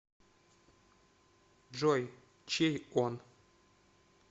джой чей он